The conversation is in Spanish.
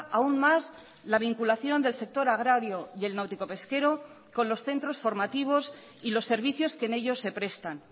aún más la vinculación del sector agrario y el náutico pesquero con los centros formativos y los servicios que en ellos se prestan